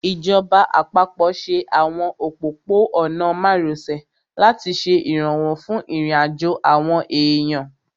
Ìjọba àpapọ̀ ṣe àwọn òpópó-ọ̀nà márosẹ̀ láti ṣe ìrànwọ́ fún ìrìnàjò àwọn èèyàn